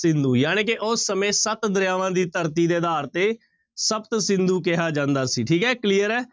ਸਿੰਧੂ ਜਾਣੀ ਕਿ ਉਸ ਸਮੇਂ ਸੱਤ ਦਰਿਆਵਾਂ ਦੀ ਧਰਤੀ ਦੇ ਆਧਾਰ ਤੇ ਸਪਤ ਸਿੰਧੂ ਕਿਹਾ ਜਾਂਦਾ ਸੀ ਠੀਕ ਹੈ clear ਹੈ।